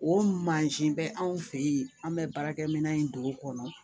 O mansin bɛ anw fɛ yen an bɛ baarakɛminɛn in don o kɔnɔ